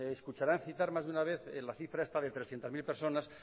me escucharán citar más que una vez la cifra esta de trescientos mil personas